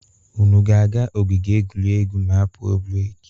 Unu ga-aga ogige egwuregwu ma a pụọ breki.